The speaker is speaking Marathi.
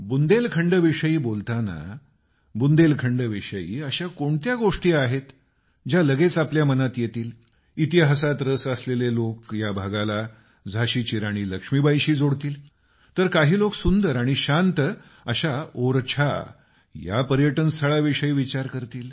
बुंदेलखंड विषयी बोताना बुंदेलखंड विषयी अशा कोणत्या गोष्टी आहेत ज्या लगेच आपल्या मनात येतील इतिहासात रस असलेले लोक या भागाला झाशीची राणी लक्ष्मीबाईंशी जोडतील तर काही लोक सुंदर आणि शांत अशा ओरछा या पर्यटनस्थळा विषयी विचार करतील